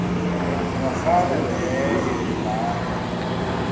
ingafana neye mane